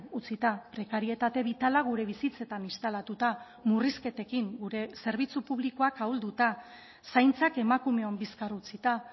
utzita prekarietate bitala gure bizitzetan instalatuta murrizketekin gure zerbitzu publikoak ahulduta zaintzak emakumeon bizkar utzita